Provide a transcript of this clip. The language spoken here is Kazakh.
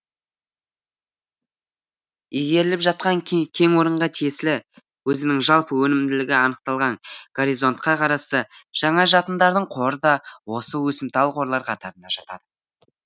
игеріліп жатқан кенорынға тиесілі өзінің жалпы өнімділігі анықталған горизонтқа қарасты жаңа жатындардың қоры да осы өсімтал қорлар қатарына жатады